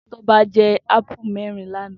Toba jè àpúlú mèrin làná